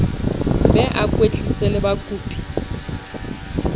be a kwetlise le bakopi